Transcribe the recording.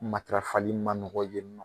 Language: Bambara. Matarafali ma nɔgɔ yen nɔ